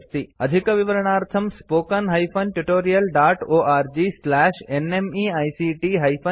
अधिकविवरणार्थं spoken hyphen tutorial dot org slash NMEICT hyphen intro इत्यत्र पश्यन्तु